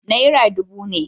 Naira dubu ne.